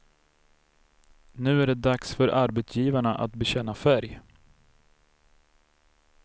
Nu är det dags för arbetsgivarna att bekänna färg.